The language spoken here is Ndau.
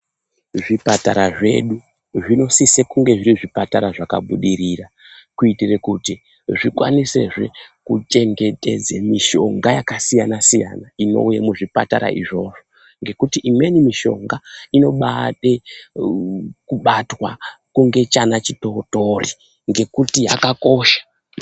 Zvipatara zvedu zvinosise kunge zviri zvipatara zvakabudirira, kuitire kuti zvikwanisezve kuchengetedza mishonga yakasiyana-siyana inouya muzvipatara izvozvo, ngekuti imweni mishonga inobaada kubatwa kunge chana chitootori ngekuti yakakosha.